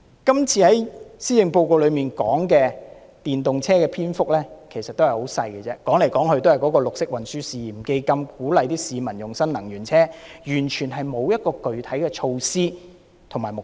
今次的施政報告有關電動車的篇幅其實很少，說來說去都是綠色運輸試驗基金，鼓勵市民使用新能源車，完全沒有具體措施及目標。